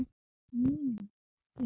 Mínum gildum.